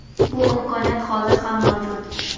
Bu imkoniyat hozir ham mavjud.